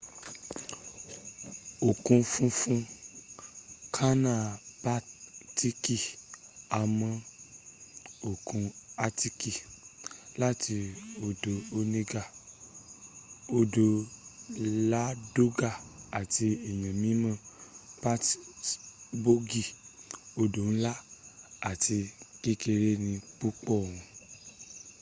òkun funfun kànáà baltiki há mó òkun atiki láti odò onega odò ladoga àti eyan mimo pitasboogi odo nla ati kekere ni púpọ̀ wọn